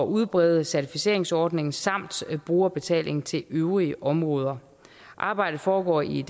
udbrede certificeringsordningen samt brugerbetaling til øvrige områder arbejdet foregår i en